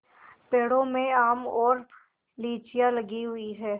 पेड़ों में आम और लीचियाँ लगी हुई हैं